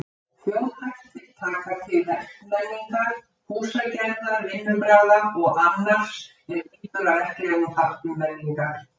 Þjóðhættir taka til verkmenningar, húsagerðar, vinnubragða og annars er lýtur að verklegum þáttum menningar.